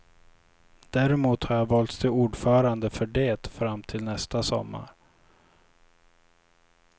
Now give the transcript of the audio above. Däremot har jag valts till ordförande för det fram till nästa sommar.